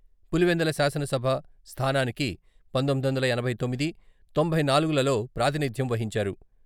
పులివెందుల శాసనసభ స్థానానికి పంతొమ్మిది వందల ఎనభై తొమ్మిది, తొంభై నాలుగులలో ప్రాతినిధ్యం వహించారు.